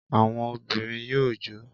Àwọn obìnrin yóò jó